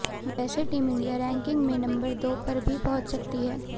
वैसे team India ranking में number दो पर भी पहुंच सकती है